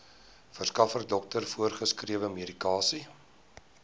verskaffer dokter voorgeskrewemedikasie